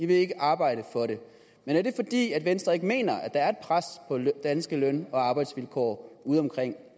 vil ikke arbejde for det men er det fordi venstre ikke mener at der er pres på danske løn og arbejdsvilkår udeomkring